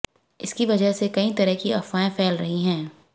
इसकी वजह से कई तरह की अफवाहें फैल रही हैं